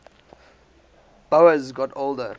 boas got older